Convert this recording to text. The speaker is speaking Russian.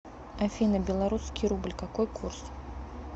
афина белорусский рубль какой курс